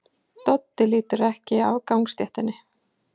Doddi lítur ekki af gangstéttinni.